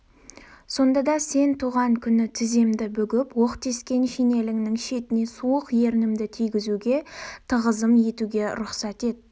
сонда да сен туған күні тіземді бүгіп оқ тескен шинеліңнің шетіне суық ернімді тигізуге тағызым етуге рұқсат ет